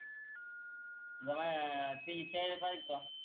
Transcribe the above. गवाया तिच्या चाय बग का?